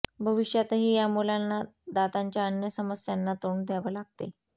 भविष्यातही या मुलांना दातांच्या अन्य समस्यांना तोंड द्यावं लागते